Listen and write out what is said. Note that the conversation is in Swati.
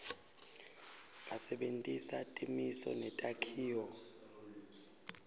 asebentisa timiso netakhiwo